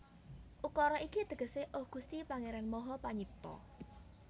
Ukara iki tegesé Oh Gusti Pangéran Maha Panyipta